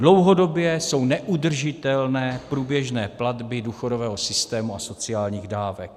Dlouhodobě jsou neudržitelné průběžné platby důchodového systému a sociálních dávek.